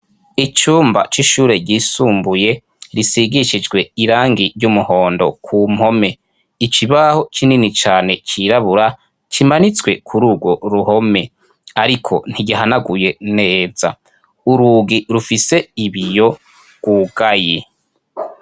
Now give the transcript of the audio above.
icyumba cy'ishure ryisumbuye risigishijwe irangi ry'umuhondo ku mpome ikibaho kinini cyane cyirabura kimanitswe kuri urwo ruhome ariko ntigihanaguye neza urugi rufise ibiyo gwugaye